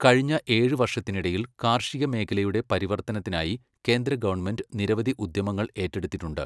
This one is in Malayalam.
കഴിഞ്ഞ ഏഴ് വർഷത്തിനിടയിൽ, കാർഷിക മേഖലയുടെ പരിവർത്തനത്തിനായി കേന്ദ്ര ഗവൺമെന്റ് നിരവധി ഉദ്യമങ്ങൾ ഏറ്റെടുത്തിട്ടുണ്ട്.